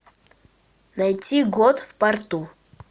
найти год в порту